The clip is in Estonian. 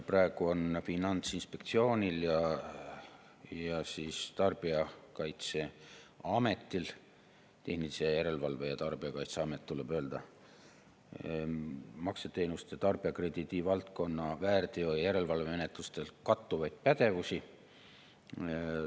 Praegu on Finantsinspektsioonil ja tarbijakaitseametil – Tarbijakaitse ja Tehnilise Järelevalve Amet tuleb öelda – makseteenuste ja tarbijakrediidi valdkonna väärteo‑ ja järelevalvemenetlustes kattuvaid pädevusi.